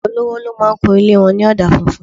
Ọ̀pọ̀lọpọ̀ olówó ló máa ń kun ilé wọn ní ọ̀dà funfun